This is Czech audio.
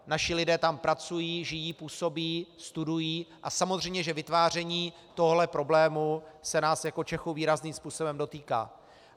Naši lidé tam pracují, žijí, působí, studují, a samozřejmě že vytváření tohoto problému se nás jako Čechů výrazným způsobem dotýká.